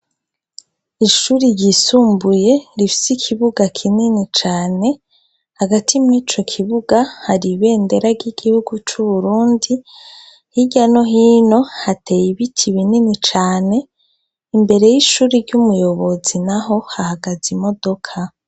Ishuri ryisumbuye rifsi ikibuga kinini cane hagati mw'ico kibuga hari ibendera ry'igihugu c'uburundi hirya no hino hateye ibiti binini cane imbere y'ishuri ry'umuyobozi na ho hahagaze imodoka.